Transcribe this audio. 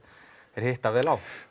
hitta vel á